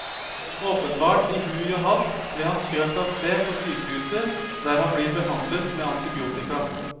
Åpenbart i hui og hast ble han kjørt av sted på sykehuset der han blir behandlet med antibiotika.